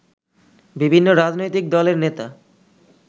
বিভিন্ন রাজনৈতিক দলের নেতা